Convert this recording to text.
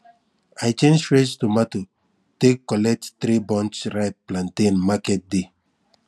i change fresh tomato take collect three bunch ripe plantain market day